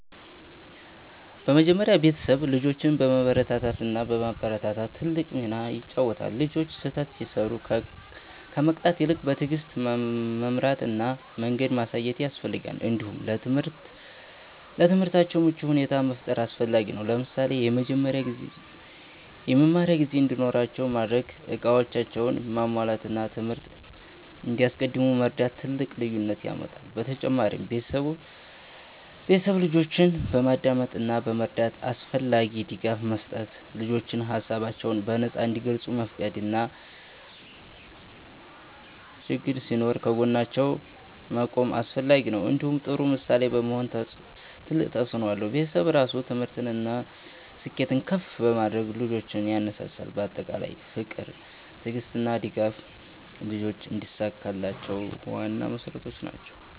በመጀመሪያ ቤተሰብ ልጆችን በመበረታታት እና በማበረታታት ትልቅ ሚና ይጫወታል። ልጆች ስህተት ሲሰሩ ከመቅጣት ይልቅ በትዕግስት መምራት እና መንገድ ማሳየት ያስፈልጋል። እንዲሁም ለትምህርታቸው ምቹ ሁኔታ መፍጠር አስፈላጊ ነው። ለምሳሌ የመማሪያ ጊዜ እንዲኖራቸው ማድረግ፣ እቃዎቻቸውን ማሟላት እና ትምህርት እንዲያስቀድሙ መርዳት ትልቅ ልዩነት ያመጣል። በተጨማሪም ቤተሰብ ልጆችን በማዳመጥ እና በመረዳት አስፈላጊ ድጋፍ መስጠት። ልጆች ሀሳባቸውን በነፃ እንዲገልጹ መፍቀድ እና ችግኝ ሲኖር ከጎናቸው መቆም አስፈላጊ ነው። እንዲሁም ጥሩ ምሳሌ መሆን ትልቅ ተፅእኖ አለው። ቤተሰብ ራሱ ትምህርትን እና ስኬትን ከፍ በማድረግ ልጆችን ያነሳሳል። በአጠቃላይ ፍቅር፣ ትዕግስት እና ድጋፍ ልጆች እንዲሳካላቸው ዋና መሠረቶች ናቸው።